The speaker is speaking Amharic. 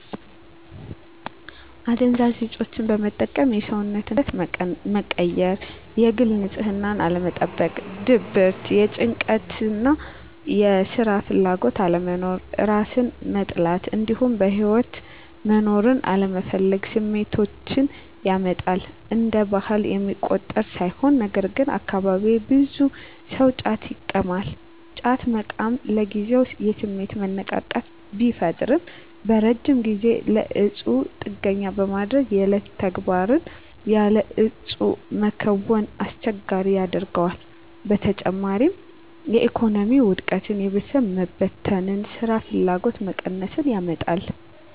አደንዛዥ እፆችን መጠቀም የሰውነትን ክብደት መቀየር፣ የግል ንፅህናን አለመጠበቅ፣ ድብርት፣ ጭንቀት፣ የስራ ፍላጎት አለመኖር፣ እራስን መጥላት እንዲሁም በህይወት መኖርን አለመፈለግ ስሜቶችን ያመጣል። እንደ ባህል የሚቆጠር ሳይሆን ነገርግን አካባቢየ ብዙ ሰው ጫት ይቅማል። ጫት መቃም ለጊዜው የስሜት መነቃቃት ቢፈጥርም በረጅም ጊዜ ለእፁ ጥገኛ በማድረግ የዕለት ተግባርን ያለ እፁ መከወንን አስቸጋሪ ያደርገዋል። በተጨማሪም የኢኮኖሚ ውድቀትን፣ የቤተሰብ መበተን፣ ስራፍላጎት መቀነስን ያመጣል።